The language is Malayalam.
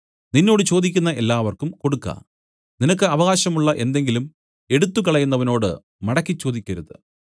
നിന്നോട് ചോദിക്കുന്ന എല്ലാവർക്കും കൊടുക്ക നിനക്ക് അവകാശമുള്ള എന്തെങ്കിലും എടുത്തുകളയുന്നവനോട് മടക്കി ചോദിക്കരുത്